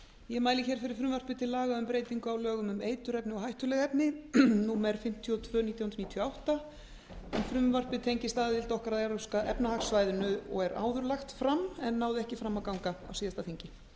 ég mæli fyrir frumvarpi til laga um breytingu á lögum um eiturefni og hættuleg efni númer fimmtíu og tvö nítján hundruð níutíu og átta en frumvarpið tengist aðild okkar að evrópska efnahagssvæðinu og er áður lagt fram en náði ekki fram að ganga á síðasta þingi